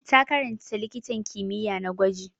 Ta karanta likitan kimiyya na gwaji.